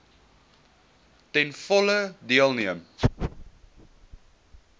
ten volle deelneem